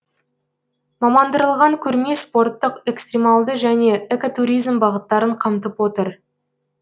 мамандырылған көрме спортық экстрималды және экотуризм бағыттарын қамтып отыр